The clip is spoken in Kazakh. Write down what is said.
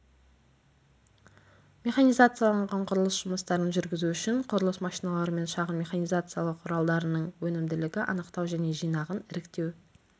механизацияланған құрылыс жұмыстарын жүргізу үшін құрылыс машиналары мен шағын механизациялау құралдарының өнімділігі анықтау және жинағын іріктеу